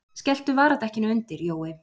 Skelltu varadekkinu undir, Jói!